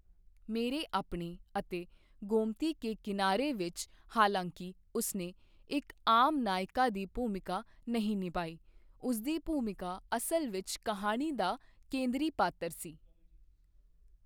ਮੇਰੇ ਅਪਣੇ ਅਤੇ ਗੋਮਤੀ ਕੇ ਕਿਨਾਰੇ ਵਿੱਚ, ਹਾਲਾਂਕਿ ਉਸਨੇ ਇੱਕ ਆਮ ਨਾਇਕਾ ਦੀ ਭੂਮਿਕਾ ਨਹੀਂ ਨਿਭਾਈ, ਉਸਦੀ ਭੂਮਿਕਾ ਅਸਲ ਵਿੱਚ ਕਹਾਣੀ ਦਾ ਕੇਂਦਰੀ ਪਾਤਰ ਸੀ।